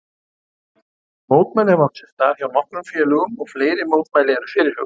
Mótmæli hafa átt sér stað hjá nokkrum félögum og fleiri mótmæli eru fyrirhuguð.